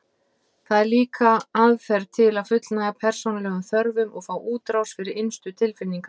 Það er líka aðferð til að fullnægja persónulegum þörfum og fá útrás fyrir innstu tilfinningar.